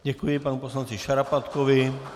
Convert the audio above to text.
Děkuji panu poslanci Šarapatkovi.